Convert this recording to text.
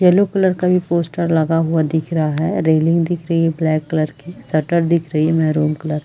yellow colour का भी poster लगा हुआ दिख रहा है रेलिंग दिख रही है ब्लैक कलर की शटर दिख रही है मेहरून कलर --